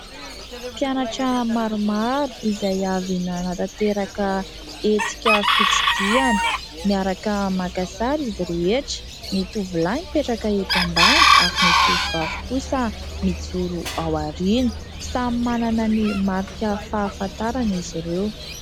Mpianatra maromaro izay avy nanatanteraka hetsika fitsidiana miaraka maka sary izy rehetra. Ny tovolahy mipetraka eto ambany ary ny tovovavy kosa mijoro ao aoriana? samy manana ny marika fahafantarana izy ireo.